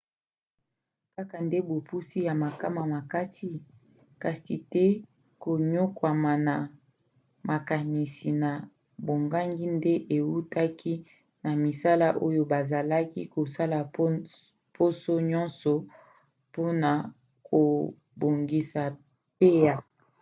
kaka nde bopusi ya makama makasi kasi te koniokwama na makanisi na bobangi nde eutaki na misala oyo bazalaki kosala poso nyonso mpona kobongisa pa